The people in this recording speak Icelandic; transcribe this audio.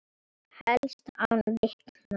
Helst án vitna.